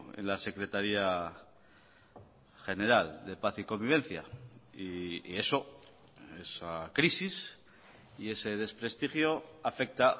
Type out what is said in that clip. en la secretaría general de paz y convivencia y eso esa crisis y ese desprestigio afecta